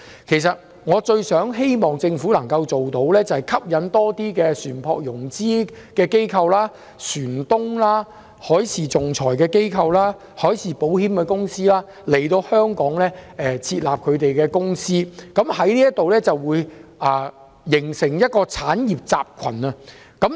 其實，我最希望政府能夠吸引更多船舶融資機構、船東、海事仲裁機構、海事保險公司來港設立公司，以便形成一個產業集群。